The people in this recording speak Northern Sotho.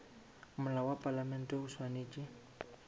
molao wa palamente o swanetše